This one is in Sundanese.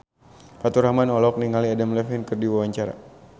Faturrahman olohok ningali Adam Levine keur diwawancara